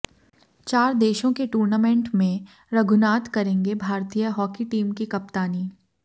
चार देशों के टूर्नामेंट में रघुनाथ करेंगे भारतीय हॉकी टीम की कप्तानी